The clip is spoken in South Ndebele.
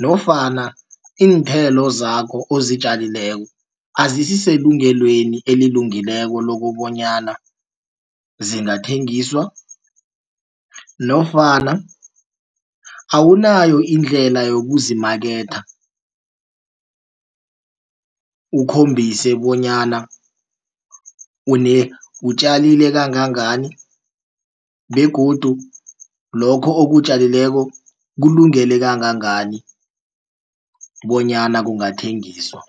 nofana iinthelo zakho ozitjalileko azisiselungelweni elilungileko lokobonyana zingathengiswa nofana awunayo indlela yokuzimaketha ukhombise bonyana utjalile kangangani begodu lokho okutjalileko kulungele kangangani bonyana kungathengiswa.